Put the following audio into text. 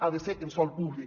ha de ser en sòl públic